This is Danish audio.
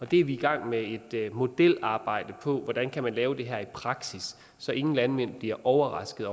det er vi i gang med et modelarbejde om hvordan man kan lave i praksis så ingen landmænd bliver overrasket